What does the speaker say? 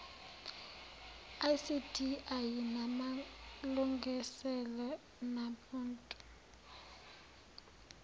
icd ayinamalungiselelo namuntu